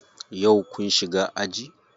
Yau kun shiga aji?